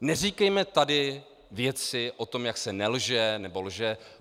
Neříkejme tady věci o tom, jak se nelže nebo lže.